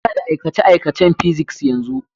Muna da aikace-aikacen Physics yanzu.